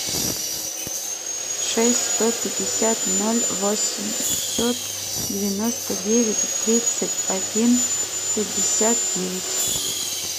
шесть сто пятьдесят ноль восемьсот девяносто девять тридцать один пятьдесят девять